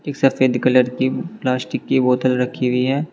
एक सफेद कलर की प्लास्टिक की बोतल रखी हुई है।